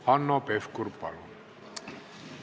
Hanno Pevkur, palun!